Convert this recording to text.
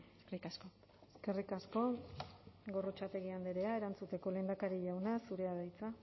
eskerrik asko eskerrik asko gorrotxategi andrea erantzuteko lehendakari jauna zurea da hitza